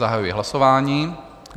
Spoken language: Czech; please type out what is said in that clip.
Zahajuji hlasování.